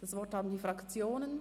DasWort haben die Fraktionen.